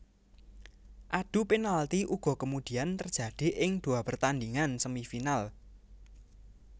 Adu penalti uga kemudian terjadi ing dua pertandhingan Semifinal